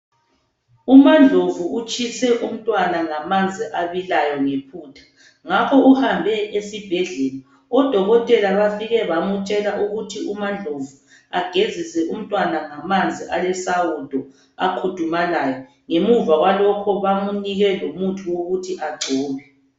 Umandlovu utshise umntwana ngamanzi abilayo ngephutha ngakho ke uhambe esibhedlela. Odokotela bafike bamtshela ukuthi u Mandlovu agezise umntwana ngamanzi alesawudo akhudumalayo .Ngemuva kwalokho bamunike lomuthi wokuthi agcobe.